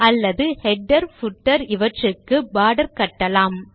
அல்லது header footer இவற்றுக்கு border கட்டலாம்